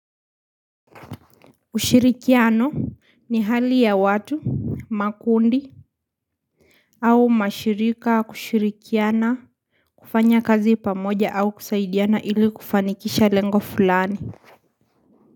Ushirikiano ni hali ya watu, makundi au mashirika kushirikiana kufanya kazi pamoja au kusaidiana ili kufanikisha lengo fulani.